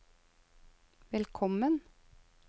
velkommen